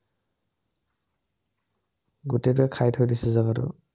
গোটেইটোৱে খাই থৈ দিছে, জেগাটো।